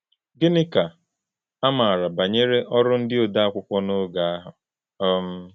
Gịnị ka a maara banyere ọrụ ndị ode akwụkwọ n’oge ahụ? um